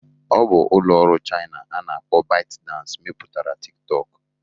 Ọ bụ ụlọ ọrụ Chaina a na-akpọ ByteDance mepụtara Tịk tọkụ